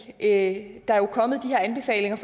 at der jo er kommet de her anbefalinger